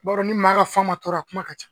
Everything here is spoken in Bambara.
I ba dɔn ni maa ka fan ma tɔɔrɔ a kuma ka ca.